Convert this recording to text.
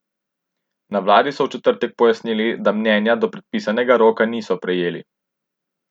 Na vladi so v četrtek pojasnili, da mnenja do predpisanega roka niso prejeli.